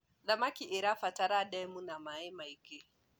thamakĩ irabatara ndemu ina maĩ maĩngi